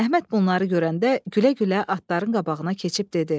Əhməd bunları görəndə gülə-gülə atların qabağına keçib dedi: